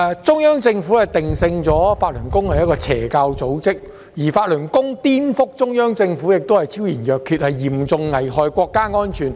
中央政府將法輪功定性為邪教組織，而法輪功顛覆中央政府的行為昭然若揭，嚴重危害國家安全。